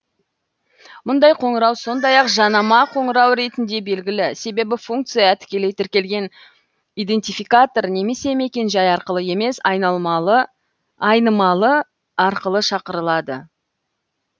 мұндай қоңырау сондай ақ жанама қоңырау ретінде белгілі себебі функция тікелей тіркелген идентификатор немесе мекен жай арқылы емес айнымалы арқылы шақырылады